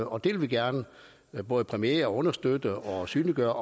og det vil vi gerne både præmiere og understøtte og synliggøre